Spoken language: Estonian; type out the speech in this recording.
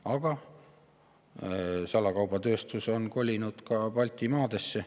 Aga salakaubatööstus on kolinud ka Baltimaadesse.